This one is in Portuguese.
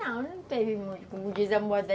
Não, não teve muito, como diz a moda.